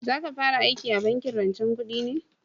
Za ka fara aiki a bankin rancen kudi ne?